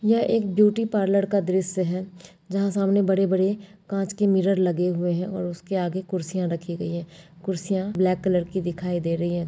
यह एक ब्यूटी-पार्लर का दृश्य है जहाँ सामने बड़े-बड़े कांच के मिरर लगे हुए है और उसके आगे कुर्सियां रखी गई है। कुर्सियां ब्लैक कलर की दिखाई दे रही है।